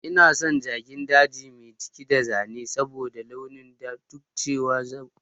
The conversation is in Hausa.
Ina son jakin daji mai jiki da zane saboda launin ta duk da cewa dabbar daji ce